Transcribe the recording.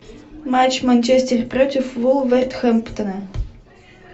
матч манчестер против вулверхэмптона